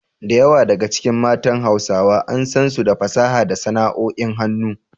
Da yawa daga cikin matan Hausawa an san su da fasaha da sana’o’in hannu.